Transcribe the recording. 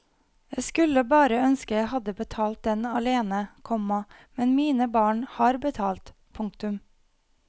Jeg skulle bare ønske jeg hadde betalt den alene, komma men mine barn har betalt. punktum